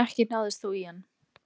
Ekki náðist þó í hann